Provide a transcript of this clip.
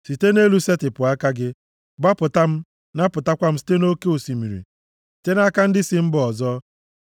Site nʼelu setịpụ aka gị; gbapụta m, napụtakwa m site nʼoke osimiri, site nʼaka ndị si mba ọzọ,